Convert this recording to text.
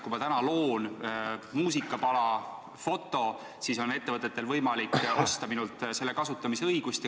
Kui ma olen loonud muusikapala või foto, on ettevõtetel võimalik osta minult nende kasutamise õigust.